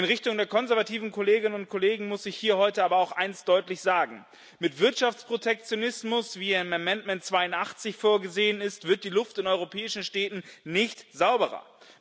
In Richtung der konservativen Kolleginnen und Kollegen muss ich hier heute aber auch eines deutlich sagen Mit Wirtschaftsprotektionismus, wie er in Änderungsantrag 82 vorgesehen ist, wird die Luft in europäischen Städten nicht sauberer.